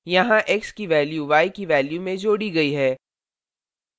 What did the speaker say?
यहाँ x की value y की value में जोड़ी गई है